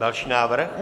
Další návrh.